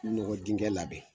Nɔgɔ dingɛ la.